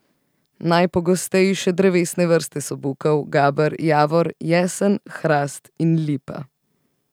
Najpogostejše drevesne vrste so bukev, gaber, javor, jesen, hrast in lipa.